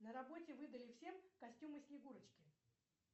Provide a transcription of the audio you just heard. на работе выдали всем костюмы снегурочки